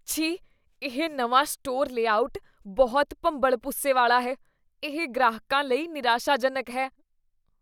ਛੀ, ਇਹ ਨਵਾਂ ਸਟੋਰ ਲੇਆਉਟ ਬਹੁਤ ਭੰਬਲਭੂਸੇ ਵਾਲਾ ਹੈ। ਇਹ ਗ੍ਰਾਹਕਾਂ ਲਈ ਨਿਰਾਸ਼ਾਜਨਕ ਹੈ।